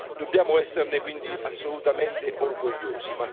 Dobbiamo esserne quindi assolutamente orgogliosi.